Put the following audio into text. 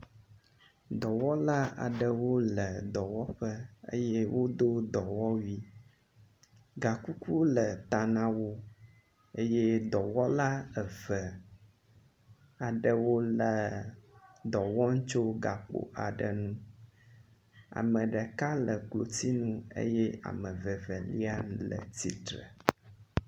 Dɔwɔla aɖewo le dɔwɔƒe eye wodo dɔwɔwui. Gakuku le ta na wo eye dɔwɔla eve aɖewo dɔ wɔm tso gakpo aɖe nu. ame ɖeka le klotsinu eye ame vevelai le tsitre.